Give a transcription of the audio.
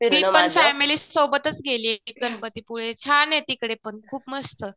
मी पण फॅमिली सोबतच गेले गणपती पुळे. छान आहे तिकडे पण खूप मस्त